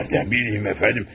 Hardan bilim, cənab?